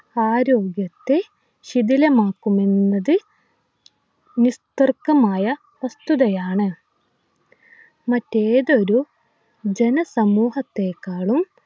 ആരോഗ്യത്തെ ശിഥിലമാക്കുമെന്നത് നിസ്തർക്കമായ വസ്തുതയാണ് മറ്റേതൊരു ജന സമൂഹത്തെക്കാളും